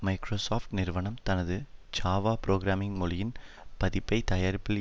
Microsoft நிறுவனம் தனது Java programming மொழியின் பதிப்பை தயாரிப்பதில்